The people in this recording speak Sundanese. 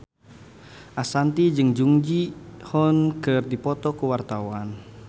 Ashanti jeung Jung Ji Hoon keur dipoto ku wartawan